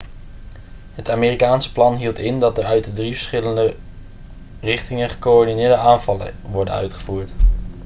het amerikaanse plan hield in dat er uit drie verschillende richtingen gecoördineerde aanvallen worden uitgevoerd